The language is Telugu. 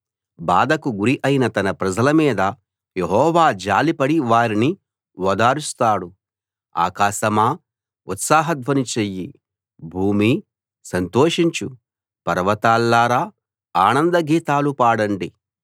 బాధకు గురి అయిన తన ప్రజల మీద యెహోవా జాలిపడి వారిని ఓదారుస్తాడు ఆకాశమా ఉత్సాహధ్వని చెయ్యి భూమీ సంతోషించు పర్వతాల్లారా ఆనందగీతాలు పాడండి